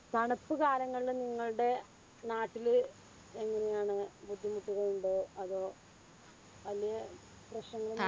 തണുപ്പ് കാലങ്ങളില് നിങ്ങൾടെ നാട്ടില് എങ്ങനെയാന്ന്. ബുദ്ധിമുട്ടുകളുണ്ടോ അതോ വല്യ പ്രശ്നങ്ങൾ